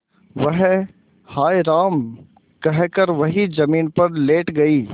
वह हाय राम कहकर वहीं जमीन पर लेट गई